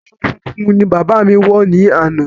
Aṣọ funfun ni bàbá mi wọ ni ana